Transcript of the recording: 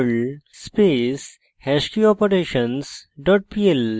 perl space hashkeyoperations dot pl